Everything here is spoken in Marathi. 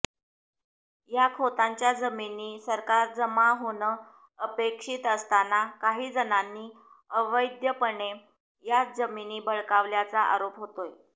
या खोतांच्या जमिनी सरकारजमा होणं अपेक्षित असताना काहीजणांनी अवैधपणे या जमिनी बळकावल्याचा आरोप होतोय